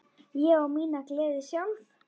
Ég á mína gleði sjálf.